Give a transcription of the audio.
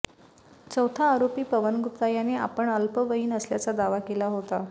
चौथा आरोपी पवन गुप्ता याने आपण अल्पवयीन असल्याचा दावा केला होता